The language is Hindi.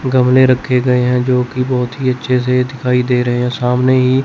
गमले रखे गए हैं जो की बहुत ही अच्छे से दिखाई दे रहे हैं सामने ही --